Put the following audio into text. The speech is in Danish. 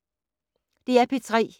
DR P3